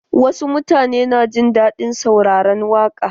Wasu mutanen na jin daɗin sauraran waƙa.